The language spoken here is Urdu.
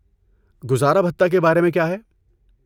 گزارا بھتہ کے بارے میں کیا ہے؟